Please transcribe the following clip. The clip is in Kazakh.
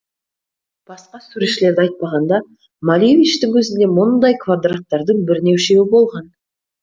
басқа суретшілерді айтпағанда малевичтің өзінде мұндай квадраттардың бірнешеуі болған